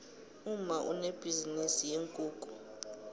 umma unebhizinisi yeenkukhu